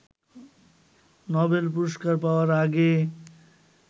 Nobel পুরস্কার পাওয়ার আগে